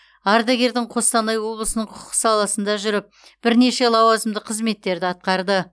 ардагердің қостанай облысының құқық саласында жүріп бірнеше лауазымды қызметтерді атқарды